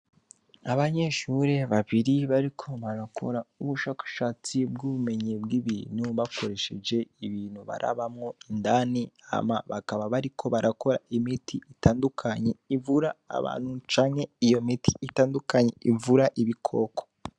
Abanyeshuri babiri bariko barakora ubushakashatsi bw'ubumenyi bw'ibintu bakoresheje ibintu barabamwo indani hama bakaba bariko barakora imiti itandukanye ivura abantu canke iyo miti itandukanye ivura ibi koko.